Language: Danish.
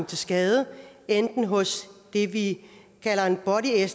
til skade enten hos det vi kalder en body